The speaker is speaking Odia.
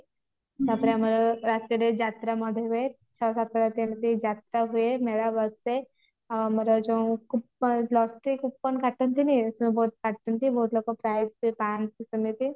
ତାପରେ ଆମର ରାତିରେ ଯାତ୍ରା ମଧ୍ୟ ହୁଏ ଛଅ ସାତ ରାତି ଏମତି ଯାତ୍ରା ହୁଏ ମେଳା ବସେ ଆମର ଯୋଉଁ କୁ luckey coupon କାଟନ୍ତିନୀ ସେ ବହୁତ କାଟନ୍ତି ବହୁତ ଲୋକ prize ବି ପାନ୍ତି ସେମିତି